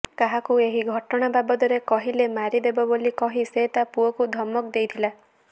କାହାକୁ ଏହି ଘଟଣା ବାବଦରେ କହିଲେ ମାରି ଦେବ ବୋଲି କହି ସେ ତା ପୁଅକୁ ଧମକ ଦେଇଥିଲା